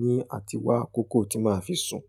ní àtìwá akòókòó tí màá fi sùn.